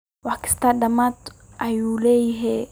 Wax kisto dhamad ayu leyhy.